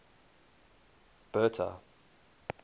bertha